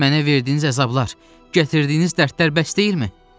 Mənə verdiyiniz əzablar, gətirdiyiniz dərdlər bəs deyil?